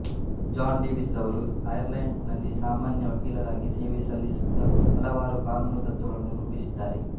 John Davies ರವರು Ireland ನಲ್ಲಿ ಸಾಮಾನ್ಯ ವಕೀಲರಾಗಿ ಸೇವೆ ಸಲ್ಲಿಸುತ್ತಾ ಹಲವಾರು ಕಾನೂನು ತತ್ವಗಳನ್ನು ರೂಪಿಸಿದ್ದಾರೆ